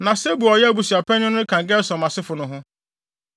Na Sebuel a ɔyɛ abusuapanyin no ka Gersom asefo no ho.